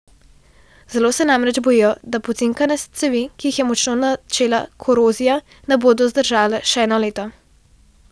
Zelo se namreč bojijo, da pocinkane cevi, ki jih je močno načela korozija, ne bodo zdržale še eno leto.